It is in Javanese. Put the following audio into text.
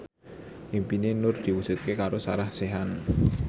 impine Nur diwujudke karo Sarah Sechan